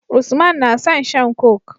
Usman na son shan coke